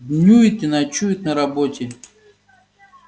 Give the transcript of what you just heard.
днюет и ночует на работе